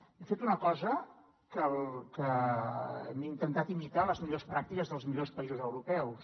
hem fet una cosa hem intentat imitar les millors pràctiques dels millors països europeus